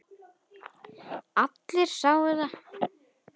Allir sáu það.